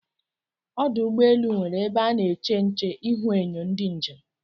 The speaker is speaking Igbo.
Ọdụ ụgbọelụ nwere ebe ana èché ǹché ihuenyo ndị njem